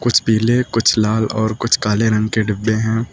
कुछ पीले कुछ लाल और कुछ काले रंग के डिब्बे हैं।